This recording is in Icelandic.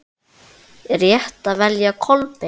Er rétt að velja Kolbein?